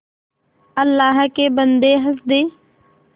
अल्लाह के बन्दे हंस दे